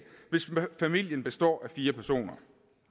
hvis familien består af fire personer